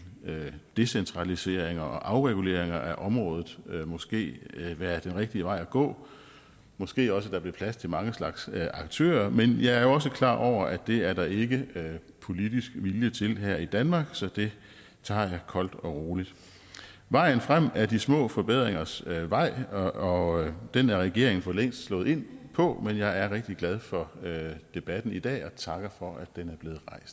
decentralisering og afregulering af området måske være den rigtige vej at gå måske også at der blev plads til mange slags aktører men jeg er jo også klar over at det er der ikke politisk vilje til her i danmark så det tager jeg koldt og roligt vejen frem er de små forbedringers vej og den er regeringen for længst slået ind på men jeg er rigtig glad for debatten i dag og takker for at den